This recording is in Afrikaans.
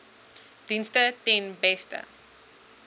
dienste ten beste